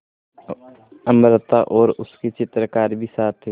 अमृता और उसके चित्रकार भी साथ थे